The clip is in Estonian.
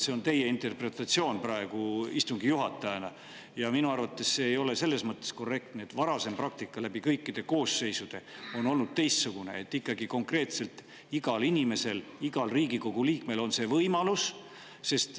See on teie interpretatsioon praegu istungi juhatajana ja minu arvates see ei ole selles mõttes korrektne, et varasem praktika läbi kõikide koosseisude on olnud teistsugune: ikkagi konkreetselt igal inimesel, igal Riigikogu liikmel on see võimalus.